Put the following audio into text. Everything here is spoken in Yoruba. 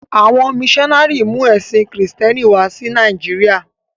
À̀wọn míṣọnárì mú ẹ̀sìn Kristẹ́ni wá sí Nàìjíríà.